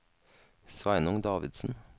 Sveinung Davidsen